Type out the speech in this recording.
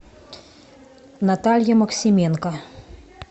наталья максименко